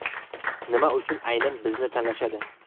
Nima uchun aynan bizni tanlashadi?